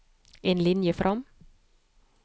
En linje fram